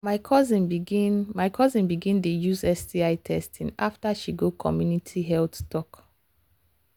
my cousin begin my cousin begin dey use sti testing after she go community health talk.